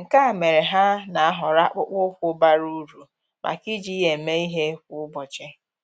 nke a mere ha nà-àhọ́rọ́ akpụkpọ́ụkwụ́ bara uru màkà iji ya èmé ìhè kwa ụ́bọ̀chị̀